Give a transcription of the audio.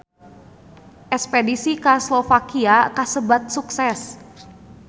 Espedisi ka Slovakia kasebat sukses